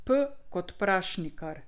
P kot Prašnikar.